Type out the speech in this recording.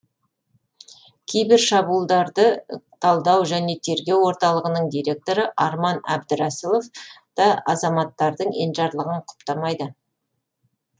кибер шабуылдарды талдау және тергеу орталығының директоры арман әбдірасилов та азаматтардың енжарлығын құптамайды